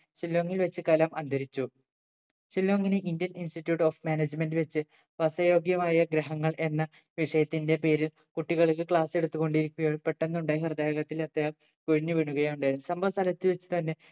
ഷില്ലോങ്ങിൽ വെച്ച് കലാം അന്തരിച്ചു ഷില്ലോങ്ങിന് indian institute of management വെച്ച് വാസയോഗ്യമായ ഗ്രഹങ്ങൾ എന്ന വിഷയത്തിന്റെ പേരിൽ കുട്ടികൾക്ക് class എടുത്ത് കൊണ്ടിരിക്കുകയായിരുന്നു പെട്ടന്ന് ഉണ്ടായ ഹൃദയാഘാതത്തിൽ അദ്ദേഹം കൊഴിഞ്ഞു വീണുകയുണ്ടായ